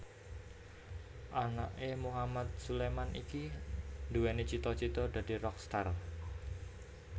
Anake Mohamad Suleman iki nduwèni cita cita dadi rockstar